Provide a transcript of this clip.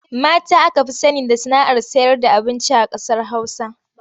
Mata aka fi sani da sana'ar sayarda abinci a ƙasar Hausa.